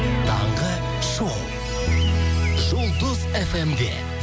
таңғы шоу жұлдыз фм де